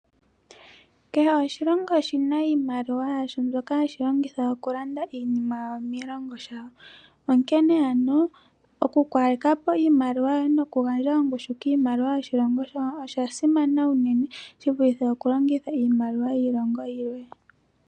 Kehe oshilongo oshina iimaliwa yasho mbyoka hashi longitha okulanda iinima yawo miilongo yawo. Onkene ano oku kaleka po iimaliwa yoye noku gandja ongushu kiimaliwa yoshilongo shaye osha simana unene shivulithe okulongitha iimaliwa yiilongo yilwe.